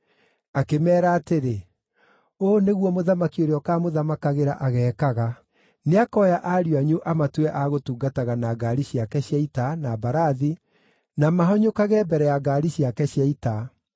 Akĩmeera atĩrĩ, “Ũũ nĩguo mũthamaki ũrĩa ũkaamũthamakagĩra ageekaga: Nĩakoya ariũ anyu amatue a gũtungataga na ngaari ciake cia ita, na mbarathi, na mahanyũkage mbere ya ngaari ciake cia ita.